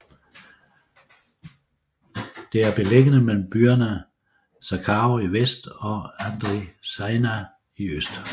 Det er beliggende mellem byerne Zacharo i vest og Andritsaina i øst